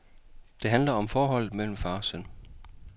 Den handler om forholdet mellem far og søn.